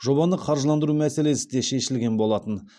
жобаны қаржыландыру мәселесі де шешілген болатын